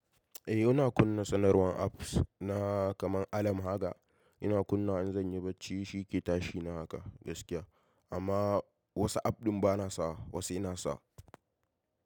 Eh, ina kunna sanarwan apps na kamar alarm haka. Ina kunnawa in zan yi barci shi ke tashi na haka gaskiya. Amma wasu app ɗin bana sawa, wasu ina sa.